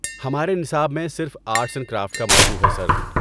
ہمارے نصاب میں صرف آرٹس اینڈ کرافٹس کا موضوع ہے، سر۔